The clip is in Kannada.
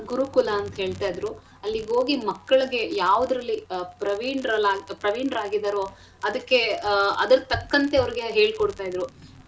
ಗುರುಕುಲ ಅಂತ ಹೇಳ್ತಾಯಿದ್ರು ಅಲ್ಲಿಗೊಗಿ ಮಕ್ಕಳಿಗೆ ಯಾವ್ದ್ರಲ್ಲಿ ಅಹ್ ಪ್ರವೀಣರಲ್ಲಾಅಂತ ಪ್ರವೀಣರಾಗಿದರೊ ಅದಕ್ಕೆ ಆಹ್ ಅದರ್ ತಕ್ಕಂತೆ ಅವ್ರಗೆ ಹೇಳ್ ಕೊಡ್ತಾಯಿದ್ರು.